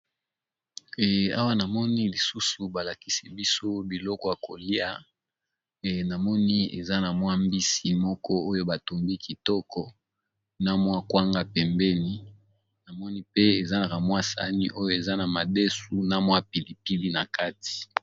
Awa namoni lisusu balakisi biso biloko yakolia namoni eza na mwa mbisi moko oyo batombi kitoko na mwa kwanga pembeni namoni pe eza na ramwa sani oyo eza na madesu na mwa pilipili na kati.